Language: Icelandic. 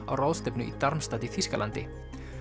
á ráðstefnu í Darmstadt í Þýskalandi